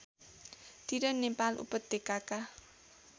तिर नेपाल उपत्यकाका